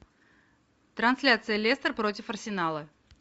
трансляция лестер против арсенала